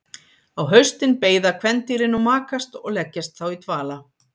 Á haustin beiða kvendýrin og makast og leggjast þá í dvala.